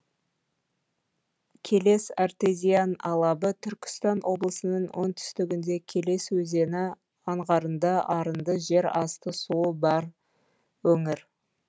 келес артезиан алабы түркістан облысының оңтүстігінде келес өзені аңғарында арынды жер асты суы бар өңір